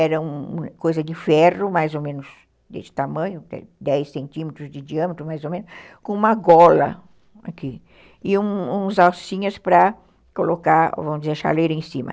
Era uma coisa de ferro, mais ou menos desse tamanho, dez centímetros de diâmetro, mais ou menos, com uma gola aqui e uns alcinhas para colocar, vamos dizer, a chaleira em cima.